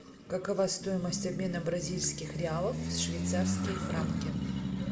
какова стоимость обмена бразильских реалов в швейцарские франки